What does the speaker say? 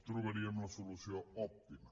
trobaríem la solució òptima